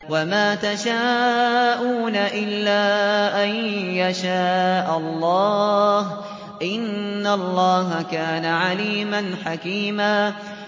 وَمَا تَشَاءُونَ إِلَّا أَن يَشَاءَ اللَّهُ ۚ إِنَّ اللَّهَ كَانَ عَلِيمًا حَكِيمًا